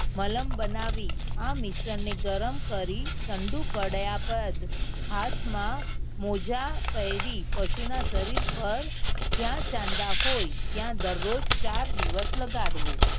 મલમ બનાવી આ મિશ્રણ ને ગરમ કરી ઠંડુ પડ્યા બાદ હાથ માં મોજા પેરી પશુ ના શરીર પર જ્યાં ચાંદા હોય ત્યાં દરરોજ ચાર દિવસ લગાડવો